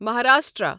Maharashtra